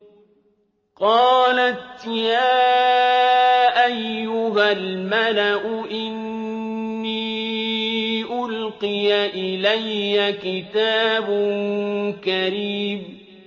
قَالَتْ يَا أَيُّهَا الْمَلَأُ إِنِّي أُلْقِيَ إِلَيَّ كِتَابٌ كَرِيمٌ